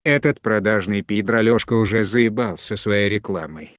этот продажный пидр алёшка уже заебал со своей рекламой